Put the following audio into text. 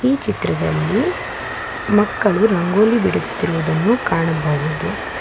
ಈ ಚಿತ್ರದಲ್ಲಿ ಮಕ್ಕಳು ರಂಗೋಲಿ ಬಿಡಿಸುತ್ತಿರುವುದನ್ನು ಕಾಣಬಹುದು.